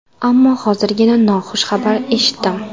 Ammo hozirgina noxush xabar eshitdim.